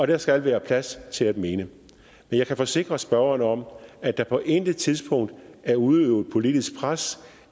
der skal være plads til at mene men jeg kan forsikre spørgeren om at der på intet tidspunkt er udøvet politisk pres